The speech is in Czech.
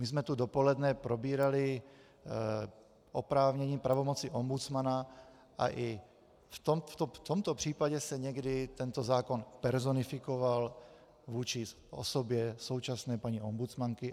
My jsme tu dopoledne probírali oprávnění, pravomoci ombudsmana, a i v tomto případě se někdy tento zákon personifikoval vůči osobě současné paní ombudsmanky.